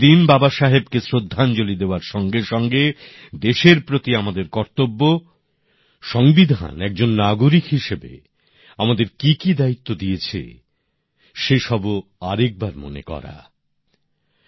এই দিন বাবাসাহেবকে শ্রদ্ধাঞ্জলি দেওয়ার সঙ্গে সঙ্গে দেশের প্রতি আমাদের কর্তব্য সংবিধান একজন নাগরিক হিসেবে আমাদের কি কি দায়িত্ব দিয়েছে সে সবও আরেকবার মনে করার সময়